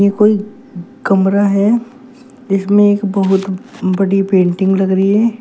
कोई कमरा है जिसमें एक बहुत बड़ी पेंटिंग लग रही है।